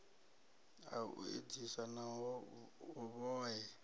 ha u edzisa na vhohe